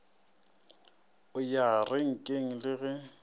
o ya renkeng le ge